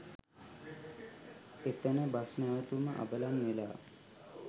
එතන බස් නැවතුම අබලන්වෙලා